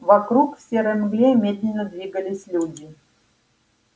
вокруг в серой мгле медленно двигались люди